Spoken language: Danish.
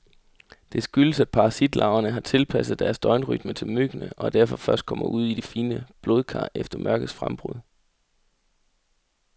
Det skyldes, at parasitlarverne har tilpasset deres døgnrytme til myggene, og derfor først kommer ud i de fine blodkar efter mørkets frembrud.